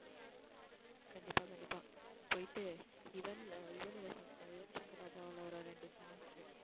கண்டிப்பா கண்டிப்பா போயிட்டு யுவன் யுவன் ஓட ஷங் யுவன் ஷங்கர் ராஜா ஓட ஒரு ரெண்டு songs உ